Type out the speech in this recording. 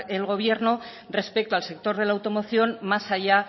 el gobierno respecto al sector de la automoción más allá